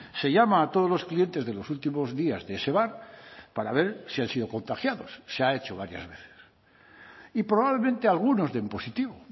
se llama a todos los clientes de los últimos días de ese bar para ver si han sido contagiados se ha hecho varias veces y probablemente algunos den positivo